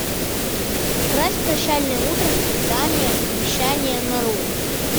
укрась прощальное утро цветами обещания нарой